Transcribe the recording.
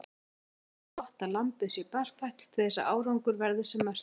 Sömuleiðis er gott að lambið sé berfætt til þess að árangur verði sem mestur.